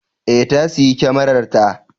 Ee, ta sayi kyamararta.